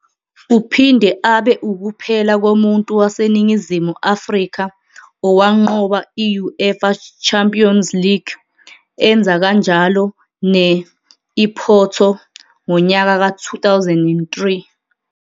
Uphinde abe ukuphela komuntu waseNingizimu Afrika owanqoba I-UEFA Champions League, enza kanjalo ne-I-Porto ngonyaka ka-2003.